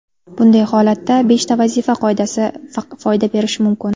Bunday holatda beshta vazifa qoidasi foyda berishi mumkin.